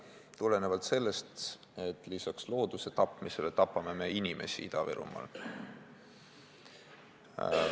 Tuleb meeles pidada, et lisaks looduse tapmisele tapame me Ida-Virumaal inimesi.